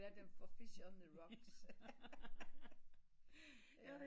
Jeg kalder dem for fish on the rocks